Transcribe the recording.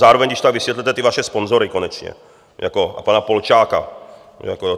Zároveň když tak vysvětlete ty vaše sponzory konečně a pana Polčáka.